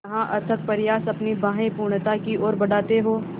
जहाँ अथक प्रयास अपनी बाहें पूर्णता की ओर बढातें हो